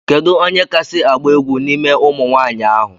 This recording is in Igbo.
Kedụ onye kasi agba egwu n'ime ụmụnwanyi ahu?